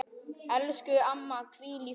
Elsku amma, hvíl í friði.